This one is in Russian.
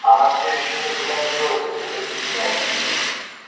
она всё ещё никуда не делась если хотите знать